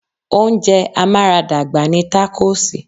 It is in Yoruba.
Oúnjẹ amaradagba ni takosì.